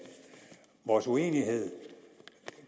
vores uenighed